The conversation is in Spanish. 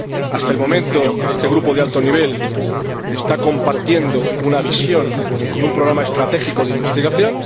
Hasta el momento, este Grupo de alto nivel está compartiendo una visión y un programa estratégico de investigación.